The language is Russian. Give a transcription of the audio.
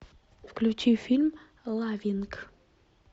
включи фильм лавинг